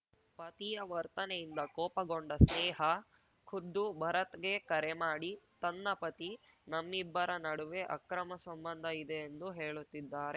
ಪತಿಯ ವರ್ತನೆಯಿಂದ ಕೋಪಗೊಂಡ ಸ್ನೇಹಾ ಖುದ್ದು ಭರತ್‌ಗೆ ಕರೆ ಮಾಡಿ ತನ್ನ ಪತಿ ನಮ್ಮಿಬ್ಬರ ನಡುವೆ ಅಕ್ರಮ ಸಂಬಂಧ ಇದೆ ಎಂದು ಹೇಳುತ್ತಿದ್ದಾರೆ